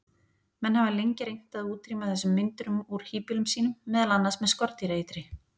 Menn hafa lengi reynt að útrýma þessum meindýrum úr híbýlum sínum, meðal annars með skordýraeitri.